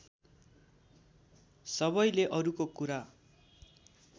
सबैले अरूको कुरा